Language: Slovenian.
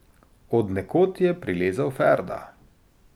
Od nekod je prilezel Ferda.